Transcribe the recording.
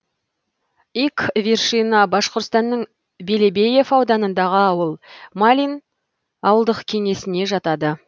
ик вершина башқұртстанның белебеев ауданындағы ауыл малин ауылдық кеңесіне жатады